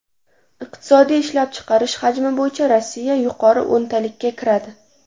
Iqtisodiy ishlab chiqarish hajmi bo‘yicha Rossiya yuqori o‘ntalikka kiradi.